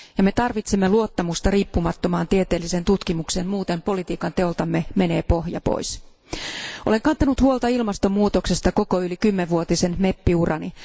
Me tarvitsemme luottamusta riippumattomaan tieteelliseen tutkimukseen, muuten politiikanteoltamme lähtee pohja pois. Olen kantanut huolta ilmastonmuutoksesta yli koko kymmenvuotisen meppiurani.